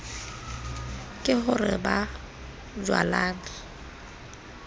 ke ho re ba bojwalane